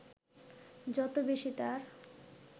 যত বেশী তার